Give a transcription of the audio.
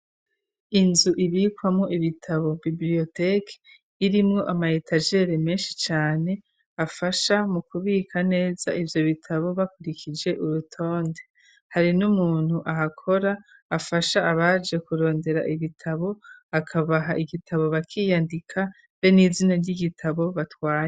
Inzu zibikwamwo ibitabo bibrioteki irimwo amayetajele menshi cane afasha mu kubika neza ivyo bitabo bakurikije urutonde hari n'umuntu ahakora afasha abaje kurondera igitabo akabaha igitabo bakiyandika be n'izina ry'igitabo batwaye.